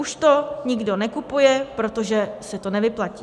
Už to nikdo nekupuje, protože se to nevyplatí.